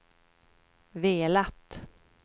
velat